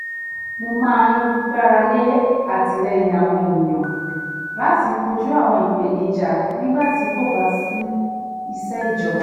mo máa ń gbáralé àtìlẹ́yìn àwọn ènìyàn láti kojú àwọn ìpèníjà nígbà tí kóbá sí isẹ́ ìjọba